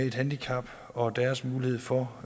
et handicap og deres muligheder for